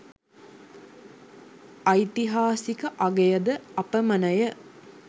ඓතිහාසික අගය ද අපමණය.